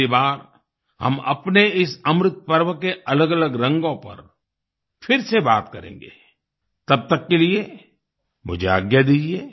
अगली बार हम अपने इस अमृतपर्व के अलगअलग रंगों पर फिर से बात करेंगे तब तक के लिए मुझे आज्ञा दीजिए